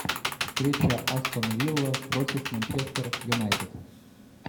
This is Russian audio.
встреча астон вилла против манчестер юнайтед